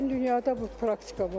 Bütün dünyada bu praktika var.